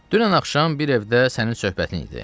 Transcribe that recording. Dünən axşam bir evdə sənin söhbətin idi.